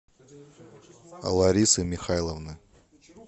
ларисы михайловны